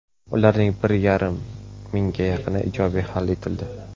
Ularning bir yarim mingga yaqini ijobiy hal etildi.